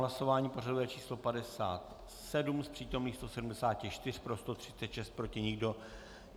Hlasování pořadové číslo 57, z přítomných 174 pro 136, proti nikdo.